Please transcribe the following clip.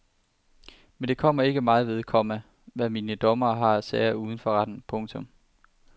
Men det kommer ikke mig ved, komma hvad mine dommere har af sager uden for retten. punktum